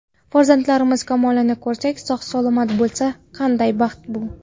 Farzandlarimiz kamolini ko‘rsak, sog‘-salomat bo‘lsa, qanday baxt bu!